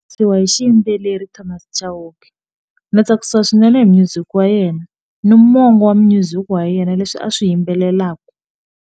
Siyiwa hi xiyimbeleri Thomas Chauke ndzi tsakisa swinene hi music wa yena ni mongo wa music wa yena leswi a swi yimbelelaka.